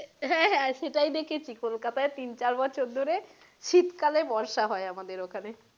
হ্যাঁ হ্যাঁ সেটাই দেখেছি কোলকাতায় প্রায় তিন চার বছর ধরে শীতকালে বর্ষা হয় আমাদের ওখানে।